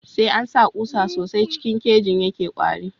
Sai ansa kusa sosai sh yake kwari